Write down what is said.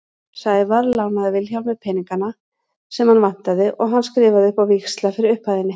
Sævar lánaði Vilhjálmi peningana sem hann vantaði og hann skrifaði upp á víxla fyrir upphæðinni.